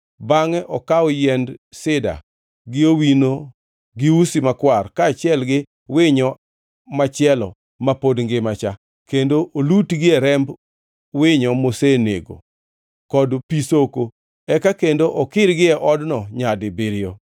bangʼe okaw yiend sida gi owino gi usi makwar, kaachiel gi winyo machielo ma pod ngimacha, kendo olutgie remb winyo mosenegno, kod pi soko, eka kendo okirgie odno nyadibiriyo.